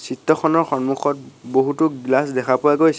খনৰ সন্মুখত বহুতো গ্লাচ দেখা পোৱা গৈছে।